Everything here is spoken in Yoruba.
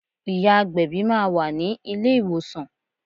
Ìyá agbẹ̀bí máa wà ní ilé ìwòsàn.